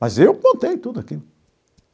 Mas eu qmontei tudo aquilo.